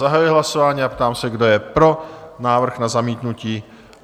Zahajuji hlasování a ptám se, kdo je pro návrh na zamítnutí?